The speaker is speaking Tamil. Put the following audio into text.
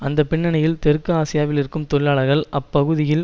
அந்த பின்னணியில் தெற்கு ஆசியாவில் இருக்கும் தொழிலாளர்கள் அப்பகுதியில்